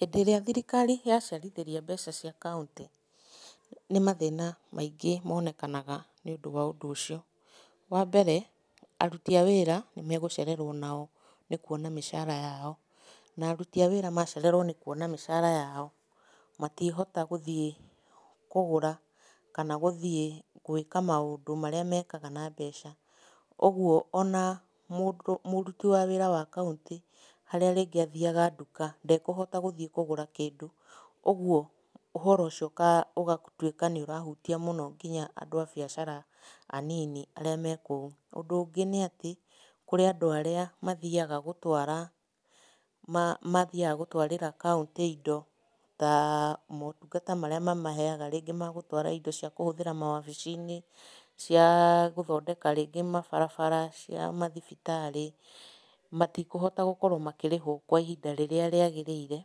Hĩndĩ ĩrĩa thirikari yacerithĩria mbeca cia kauntĩ, nĩ mathĩna maingĩ monekanaga nĩũndũ wa ũndũ ũcio. Wambere, aruti a wĩra nĩmagũcererwo onao nĩ kuona mĩcara yao, na aruti a wĩra macererwo nĩ kuona mĩcara yao, matiĩhota gũthiĩ kũgũra kana gũthiĩ gwĩka maũndũ marĩa mekaga na mbeca, ũguo ona mũndũ mũruti wa wĩra wa kauntĩ harĩa rĩngĩ athiaga nduka, ndekũhota gũthiĩ kũgũra kĩndũ, ũguo ũhoro ũcio ũgatuĩka nĩũrahutia mũno kinya andũ a biacara anini arĩa mekũu. Ũndũ ũngĩ nĩatĩ, kũrĩ andũ arĩa mathiaga gũtwara mathiaga gũtwarĩra kauntĩ indo taa motungata marĩa mamahega rĩngĩ magũtwara indo cia kũhũthĩra mawabici-inĩ, ciaa gũthondeka rĩngĩ mabarabara, cia mathibitarĩ, matikũhota gũkorwo makĩrĩhwo kwa ihinda rĩrĩa rĩagĩrĩire,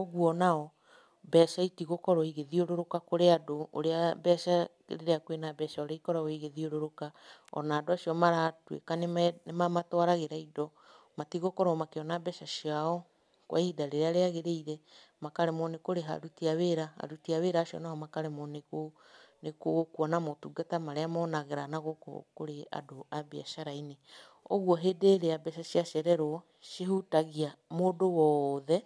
ũguo onao mbeca itigũkorwo igĩthiũrũrũka kũrĩ andũ ũrĩa mbeca rĩrĩa kwĩna mbeca ũrĩa ikoragwo igĩthiũrũrũka, ona andũ acio maratuĩka nĩmamatwaragĩra indo, matigũkorwo makĩona mbeca ciao kwa ihinda rĩrĩa rĩagĩrĩire, makaremwo nĩ kũrĩha aruti a wĩra, aruti a wĩra acio nao makaremwo nĩ kũ nĩ kuona motungata marĩa monaga na gũkũ kũrĩ andũ a mbiacara-inĩ, ũguo hĩndĩ ĩrĩa mbeca ciarererwo, cihutagia mũndũ wothe.